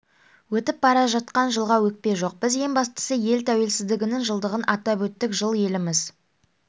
өтіп бара жатқан жылға өкпе жоқ біз ең бастысы ел тәуелсіздігінің жылдығын атап өттік жыл еліміз